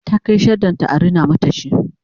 ta Kai shaddan ta an rina mata shi